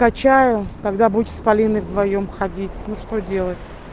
качаю когда будете с полиной вдвоём ходить ну что делать